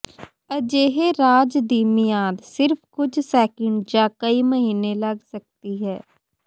ਅਜਿਹੇ ਰਾਜ ਦੀ ਮਿਆਦ ਸਿਰਫ ਕੁਝ ਸੈਕਿੰਡ ਜਾਂ ਕਈ ਮਹੀਨੇ ਲੱਗ ਸਕਦੀ ਹੈ